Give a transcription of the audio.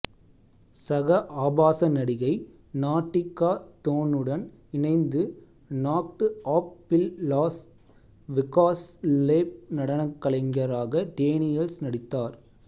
சக ஆபாச நடிகை நாட்டிக்கா தோன்னுடன் இணைந்து நாக்டு அப் பில் லாஸ் வெகாஸ் லேப் நடனக்கலைஞராக டேனியல்ஸ் நடித்தார்